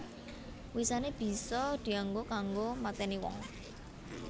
Wisané bisa dianggo kanggo matèni wong